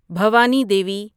Bhavani Devi